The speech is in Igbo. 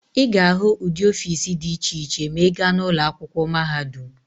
Ị ga-ahụ ụdị ọfiisi dị iche iche ma ị gaa n'ụlọ akwụkwọ mahadum.